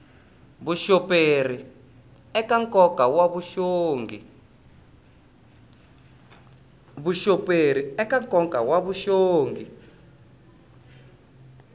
vuxoperi eka nkoka wa vuxongi